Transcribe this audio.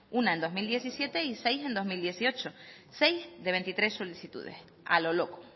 una en dos mil diecisiete y seis en dos mil dieciocho seis de veintitrés solicitudes a lo loco